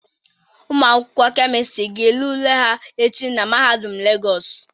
Ụmụ akwụkwọ Kemịstịrị ga ele ule ha echi na Mahadum Legọọsụ.